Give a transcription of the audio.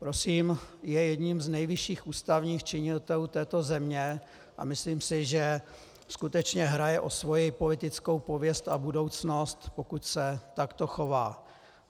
Prosím, je jedním z nejvyšších ústavních činitelů této země, a myslím si, že skutečně hraje o svoji politickou pověst a budoucnost, pokud se takto chová.